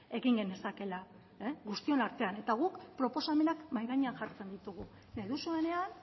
egin genezakeela guztion artean eta guk proposamenak mahai gainean jartzen ditugu nahi duzuenean